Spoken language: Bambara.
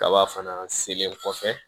Kaba fana selen kɔfɛ